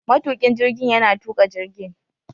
Matukin jirgin yana tuka jirgin